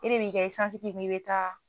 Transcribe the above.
E de b'i ka esansi k'i kun i be taa